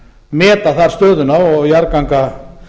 meta þar stöðuna og jarðganga